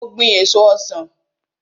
Mo gbin èso ọsan.